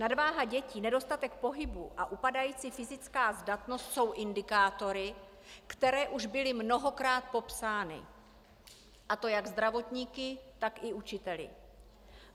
Nadváha dětí, nedostatek pohybu a upadající fyzická zdatnost jsou indikátory, které už byly mnohokrát popsány, a to jak zdravotníky, tak i učiteli.